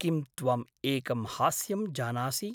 किं त्वं एकं हास्यं जानासि?